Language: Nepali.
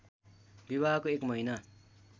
विवाहको एक महिना